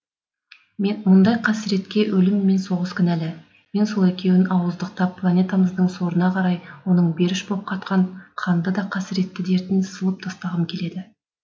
мұндай қасіретке өлім мен соғыс кінәлі мен сол екеуін ауыздықтап планетамыздың сорына қарай оның беріш боп қатқан қанды да қасіретті дертін сылып тастағым келеді